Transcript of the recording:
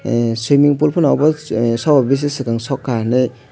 ah swimming pool pono obo ah sabo besi sokang sokha hinui.